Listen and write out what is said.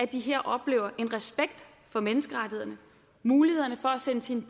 de her oplever en respekt for menneskerettighederne muligheden for at sende sine